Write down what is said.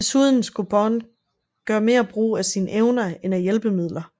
Desuden skulle Bond gøre mere brug af sine evner end af hjælpemidler